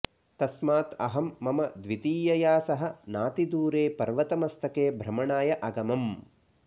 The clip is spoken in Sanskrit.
तस्मात् अहं मम द्वितीयया सह नातिदूरे पर्वतमस्तके भ्रमणाय अगमम्